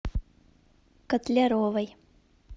котляровой